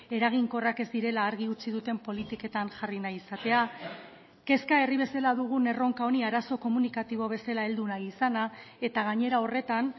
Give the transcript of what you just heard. eraginkorrak ez direla argi utzi duten politiketan jarri nahi izatea kezka herri bezala dugun erronka honi arazo komunikatibo bezala heldu nahi izana eta gainera horretan